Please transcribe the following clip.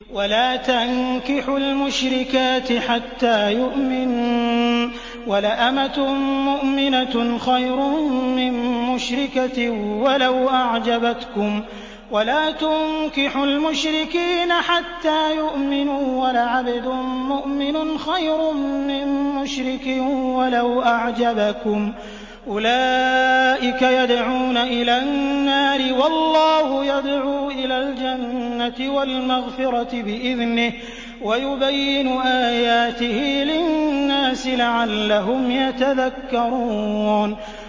وَلَا تَنكِحُوا الْمُشْرِكَاتِ حَتَّىٰ يُؤْمِنَّ ۚ وَلَأَمَةٌ مُّؤْمِنَةٌ خَيْرٌ مِّن مُّشْرِكَةٍ وَلَوْ أَعْجَبَتْكُمْ ۗ وَلَا تُنكِحُوا الْمُشْرِكِينَ حَتَّىٰ يُؤْمِنُوا ۚ وَلَعَبْدٌ مُّؤْمِنٌ خَيْرٌ مِّن مُّشْرِكٍ وَلَوْ أَعْجَبَكُمْ ۗ أُولَٰئِكَ يَدْعُونَ إِلَى النَّارِ ۖ وَاللَّهُ يَدْعُو إِلَى الْجَنَّةِ وَالْمَغْفِرَةِ بِإِذْنِهِ ۖ وَيُبَيِّنُ آيَاتِهِ لِلنَّاسِ لَعَلَّهُمْ يَتَذَكَّرُونَ